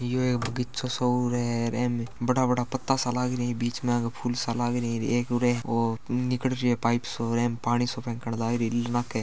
यो एक बगीचों सो है इमें बड़ा बड़ा पत्ता सा लागरी बीच मा आंके फूल सा लागरी एक उरे ओ निकल रियो पाइप सो और एमए पानी सो फेकणं लागरी --